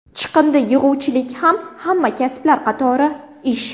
Chiqindi yig‘uvchilik ham hamma kasblar qatori ish.